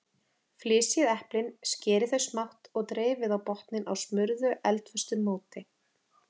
Flysjið eplin, skerið þau smátt og dreifið á botninn á smurðu eldföstu móti.